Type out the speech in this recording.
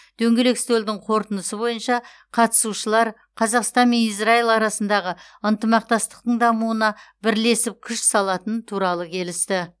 дөңгелек үстелдің қорытындысы бойынша қатысушылар қазақстан мен израил арасындағы ынтымақтастықтың дамуына бірлесіп күш салатыны туралы келісті